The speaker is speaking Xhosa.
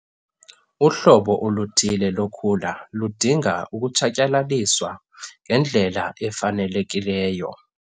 Uhlobo oluthile lokhula ludinga ukutshatyalaliswa ngendlela efanelekileyo.